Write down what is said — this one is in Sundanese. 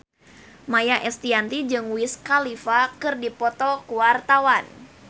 Maia Estianty jeung Wiz Khalifa keur dipoto ku wartawan